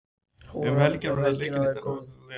Um helgina verður leikið í Deildabikarnum hér landi.